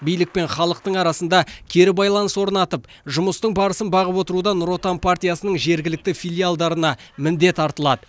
билік пен халықтың арасында кері байланыс орнатып жұмыстың барысын бағып отыруда нұр отан партиясының жергілікті филиалдарына міндет артылады